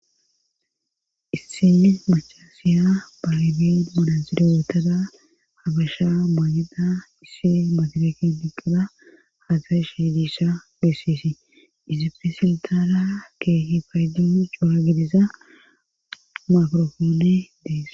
Issini mucha siya balibin monansida wootada hagasha bonida issi motoleken diqqila haatashediisha bessisi izife siltaara keehi faydinu cuwaagidiza makrofoone dees.